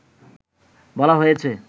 বলা হয়েছে